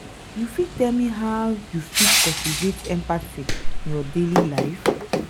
you fit tell me how you fit cultivate empathy in your daily life?